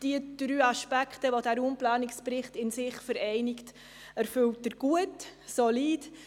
Diese drei Aspekte, die der Raumplanungsbericht in sich vereinigt, erfüllt er gut und solide.